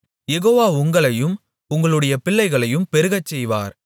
யெகோவா உங்களையும் உங்களுடைய பிள்ளைகளையும் பெருகச்செய்வார்